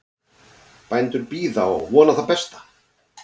Bændur bíða og vona það besta